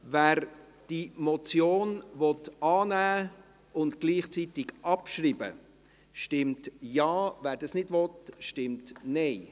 Wer diese Motion annehmen und gleichzeitig abschreiben will, stimmt Ja, wer dies ablehnt, stimmt Nein.